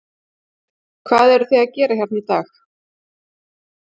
Hvað eruð þið að gera hérna í dag?